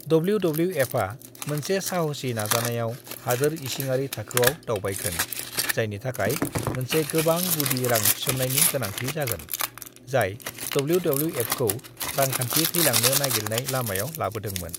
"डब्ल्यू.डब्ल्यू.एफा मोनसे साहसी नाजानायाव हादोर इसिङारि थाखोआव दावबायगोन जायनि थाखाय मोनसे गोबां गुदि रां थिसन्नायनि गोनांथि जागोन, जाय डब्ल्यू.डब्ल्यू.एफखौ रांखान्थि थैलांनो नागिरनाय लामायाव लाबोदोंमोन।"